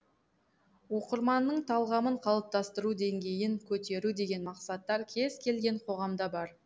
оқырманның талғамын қалыптастыру деңгейін көтеру деген мақсаттар кез келген қоғамда бар